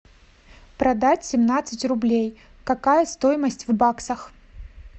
продать семнадцать рублей какая стоимость в баксах